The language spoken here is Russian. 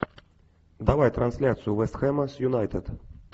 давай трансляцию вест хэма с юнайтед